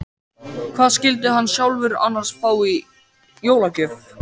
Hvað skyldi hann sjálfur annars fá í jólagjöf?